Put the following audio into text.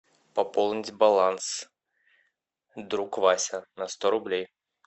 пополнить баланс друг вася на сто рублей